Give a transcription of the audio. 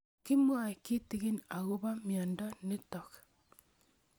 Kimwae kitig'in akopo miondo notok